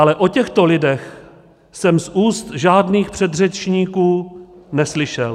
Ale o těchto lidech jsem z úst žádných předřečníků neslyšel.